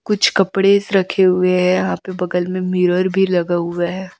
कुछ कपड़े स रखे हुए हैं यहां पे बगल में मिरर भी लगा हुआ है।